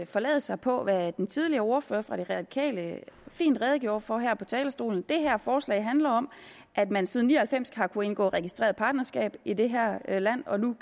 forlade sig på hvad den tidligere ordfører for de radikale fint redegjorde for her på talerstolen det her forslag handler om at man siden nitten ni og halvfems har kunnet indgå registreret partnerskab i det her land og nu